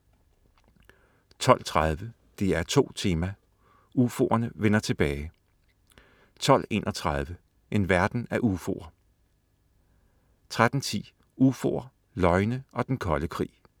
12.30 DR2 Tema: UFOerne vender tilbage* 12.31 En verden af UFOer* 13.10 UFOer, løgne og den kolde krig*